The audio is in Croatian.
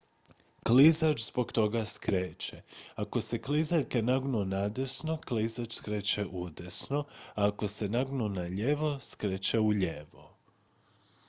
klizač zbog toga skreće ako se klizaljke nagnu nadesno klizač skreće udesno a ako se nagnu nalijevo skreće ulijevo